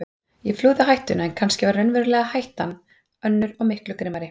Ég flúði hættuna en kannski var raunverulega hættan önnur og miklu grimmari.